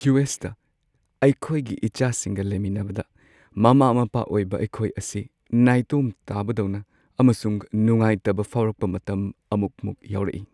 U. ꯑꯦꯁ.ꯇ ꯑꯩꯈꯣꯏꯒꯤ ꯏꯆꯥꯁꯤꯡꯒ ꯂꯩꯃꯤꯟꯅꯕꯗ, ꯃꯃꯥ-ꯃꯄꯥ ꯑꯣꯏꯕ ꯑꯩꯈꯣꯏ ꯑꯁꯤ ꯅꯥꯏꯇꯣꯝ ꯇꯥꯕꯗꯧꯅ ꯑꯃꯁꯨꯡ ꯅꯨꯡꯉꯥꯏꯇꯕ ꯐꯥꯎꯔꯛꯄ ꯃꯇꯝ ꯑꯃꯨꯛ- ꯃꯨꯛ ꯌꯥꯎꯔꯛꯏ ꯫